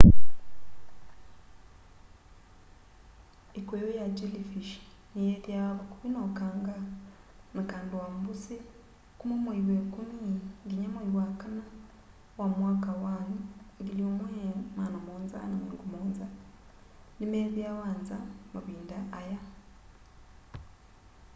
ikuyu ya jellyfish ni yithiawa vakuvi na ukanga na kando wa mbũsi kũma mwai wa ikũmi nginya mwai wa kana wa mwaka wa 1770 ni methiawa nza mavinda aya